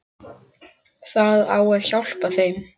Það á að hjálpa þeim.